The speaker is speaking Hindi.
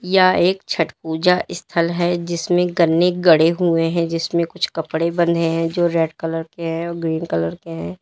यह एक छठ पूजा स्थल है जिसमें गन्ने गड़े हुए हैं जिसमें कुछ कपड़े बंधे हैं जो रेड कलर के हैं और ग्रीन कलर के हैं।